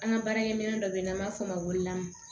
An ka baarakɛminɛn dɔ bɛ yen n'an b'a fɔ o ma ko lamun